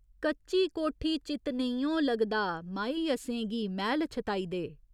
कच्ची कोठी चित्त नेइयों लगदा माही असें गी मैह्‌ल छताई दे।